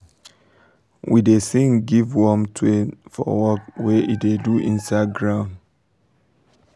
we da sing give worm twale for work wey e da do inside ground